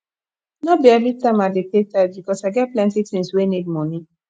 no be everytime i dey pay tithe because i get plenty tins wey need moni